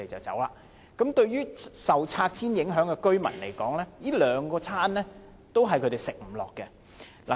這對於受拆遷影響的居民來說，這兩個餐都是他們"吃不下"的。